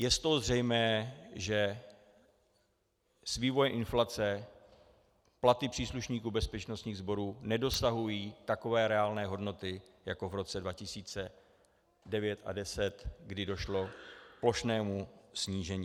Je z toho zřejmé, že s vývojem inflace platy příslušníků bezpečnostních sborů nedosahují takové reálné hodnoty jako v roce 2009 a 2010, kdy došlo k plošnému snížení.